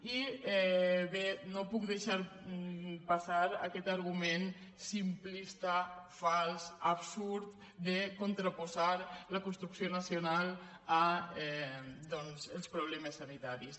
i bé no puc deixar passar aquest argument simplista fals absurd de contraposar la construcció nacional als problemes sanitaris